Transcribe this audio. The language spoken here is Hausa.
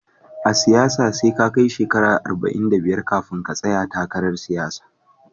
A siyasanke SE ka kai shekara talatin da biyar zaka tsaya takara